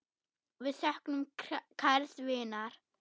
Við söknum kærs vinar.